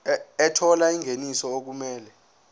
ethola ingeniso okumele